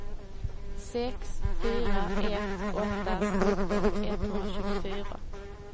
sex fyra ett åtta sjutton etthundratjugofyra